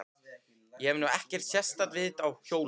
Ég hef nú ekkert sérstakt vit á hjólum.